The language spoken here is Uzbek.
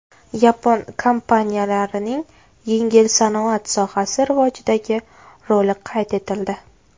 Yapon kompaniyalarining yengil sanoat sohasi rivojidagi roli qayd etildi.